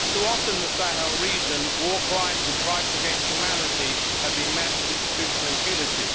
Too often in the Sahel region, war crimes and crimes against humanity have been met with institutional impunity.